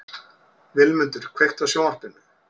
Vilmundur, kveiktu á sjónvarpinu.